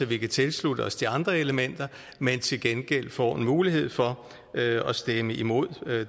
vi kan tilslutte os de andre elementer men til gengæld får en mulighed for at stemme imod